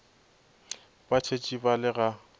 ba tshetše ba le ga